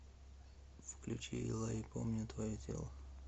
включи эллаи помню твое тело